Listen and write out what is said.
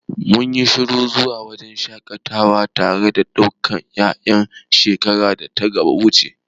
Mun yi shirin zuwa wajen shaƙatawa tare da dukkan ƴaƴan shekarar data wuce.